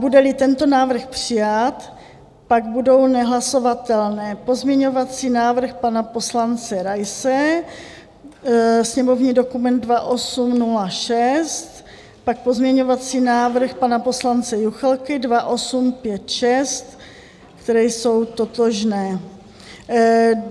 Bude-li tento návrh přijat, pak budou nehlasovatelné pozměňovací návrh pana poslance Raise, sněmovní dokument 2806, pozměňovací návrh pana poslance Juchelky 2856, které jsou totožné.